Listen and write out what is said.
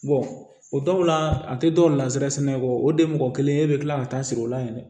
o dɔw la a tɛ dɔw lasɛrɛsɛnɛ kɔ o de ye mɔgɔ kelen e bɛ tila ka taa sigi o la yɛrɛ